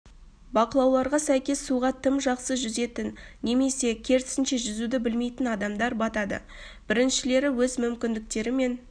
бақылауларға сәйкес суға тым жақсы жүзетін немесе керісінше жүзуді білмейтін адамдар батады біріншілері өз мүмкіндіктері мен